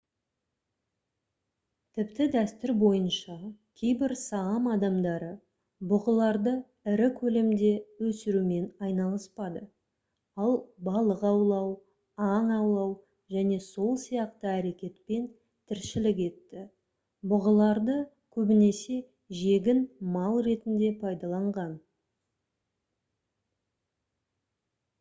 тіпті дәстүр бойынша кейбір саам адамдары бұғыларды ірі көлемде өсірумен айналыспады ал балық аулау аң аулау және сол сияқты әрекетпен тіршілік етті бұғыларды көбінесе жегін мал ретінде пайдаланған